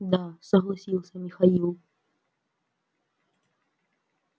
да согласился михаил